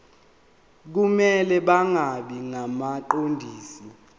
kumele bangabi ngabaqondisi